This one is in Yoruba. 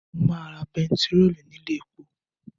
Mo máa ra bentiróòlù ní ilé epo